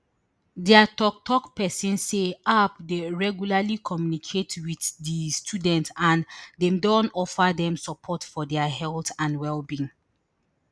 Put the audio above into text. dia toktok pesin say aub dey regularly communicate wit di students and dem don offer dem support for dia health and wellbeing